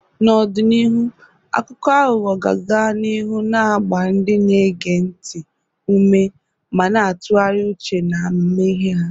N'ọdịnihu, akụkọ aghụghọ ga-aga n'ihu na-agba ndị na-ege ntị ume ma na-atụgharị uche na amamihe ha.